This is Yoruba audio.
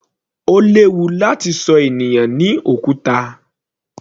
Ó léwu láti ṣọ ènìyàn ní òkúta.